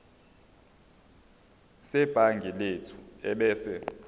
sebhangi lethu ebese